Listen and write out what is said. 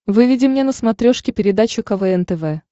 выведи мне на смотрешке передачу квн тв